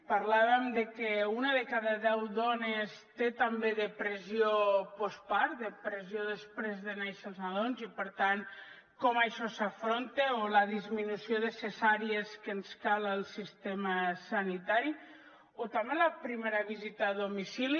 parlàvem de que una de cada deu dones té també depressió postpart depressió després de néixer els nadons i per tant com això s’afronta o la disminució de cesàries que ens cal al sistema sanitari o també la primera visita a domicili